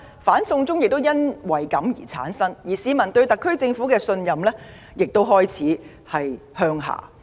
"反送中"運動由此而生，市民對特區政府的信任亦開始下滑。